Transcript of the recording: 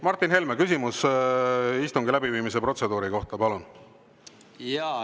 Martin Helme, küsimus istungi läbiviimise protseduuri kohta, palun!